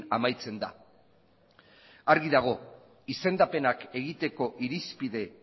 amaitzen da argi dago izendapenak egiteko irizpide